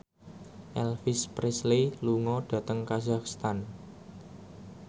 Elvis Presley lunga dhateng kazakhstan